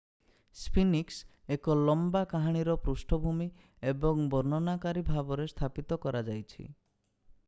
sphinx ଏକ ଲମ୍ବା କାହାଣୀର ପୃଷ୍ଠଭୂମି ଏବଂ ବର୍ଣ୍ଣନାକାରୀ ଭାବରେ ସ୍ଥାପିତ କରାଯାଇଛି